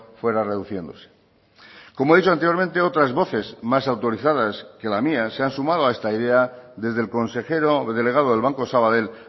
fuera reduciéndose como he dicho anteriormente otras voces más autorizadas que la mía se han sumado a esta idea desde el consejero delegado del banco sabadell